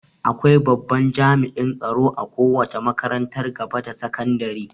Akwai babban jami'in tsaro a kowace makarantar gaba da sakadire